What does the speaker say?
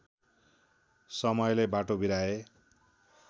समयले बाटो बिराए